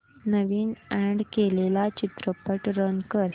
नवीन add केलेला चित्रपट run कर